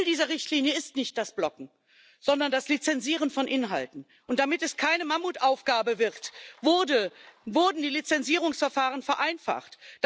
Das Ziel dieser Richtlinie ist nicht das Blocken, sondern das Lizenzieren von Inhalten. Und damit es keine Mammutaufgabe wird, wurden die Lizenzierungsverfahren vereinfacht.